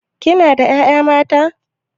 Kina da ƴaƴa mata?